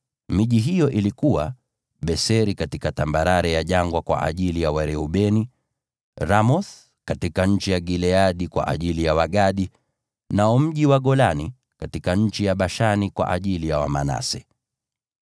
Miji hiyo ilikuwa: Bezeri katika tambarare ya jangwa kwa ajili ya Wareubeni; Ramothi katika nchi ya Gileadi kwa ajili ya Wagadi; nao mji wa Golani katika nchi ya Bashani kwa ajili ya Wamanase.